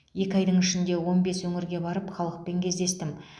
екі айдың ішінде он бес өңірге барып халықпен кездестім